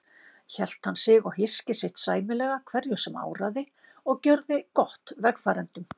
Hélt hann sig og hyski sitt sæmilega hverju sem áraði og gjörði gott vegfarendum.